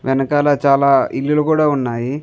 వెనకాల చాల ఇళ్ళులు కూడా ఉన్నాయి.